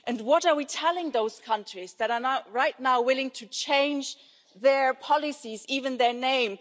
And what are we telling those countries that are right now willing to change their policies, even their name?